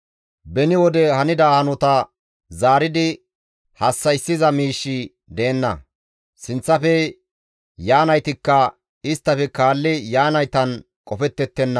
Beni wode hanida hanota zaaridi hassa7issiza miishshi deenna; sinththafe yaanaytikka isttafe kaalli yaanaytan qofettettenna.